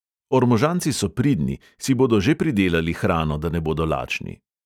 Ormožanci so pridni, si bodo že pridelali hrano, da ne bodo lačni.